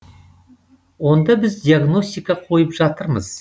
онда біз диагностика қойып жатырмыз